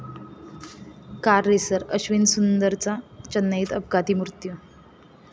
car racer Ashwin सुंदरचा चेन्नईत अपघाती मृत्यू